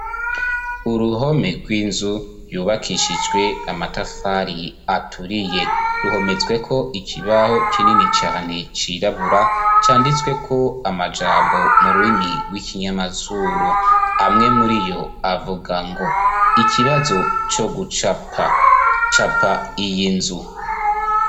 uruhome rw'inzu yubakishijwe amatafari aturiye ruhometsweko ikibaho kinini cyane cirabura canditsweko amajambo mu rurimi rw'ikinyamazuru amwe muri yo avuga ngo ikibazo co gucapa capa iyi nzu